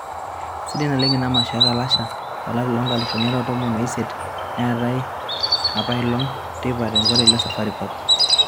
sidai naleng ina masho e Kalasha o lari lo nkalifuni are o tomon o isiet naatae apailong teipa te nkoteli e Safari Park.